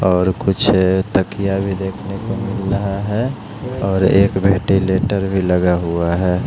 और कुछ तकिया भी देखने को मिल रहा है और एक वेंटिलेटर भी लगा हुआ है।